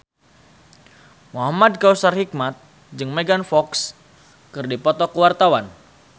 Muhamad Kautsar Hikmat jeung Megan Fox keur dipoto ku wartawan